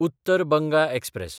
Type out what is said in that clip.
Uttar Banga express